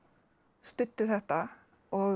studdu þetta og